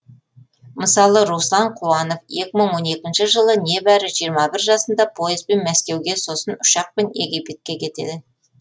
мысалы руслан қуанов екі мың он екінші жылы небәрі жиырма бір жасында поездбен мәскеуге сосын ұшақпен египетке кетеді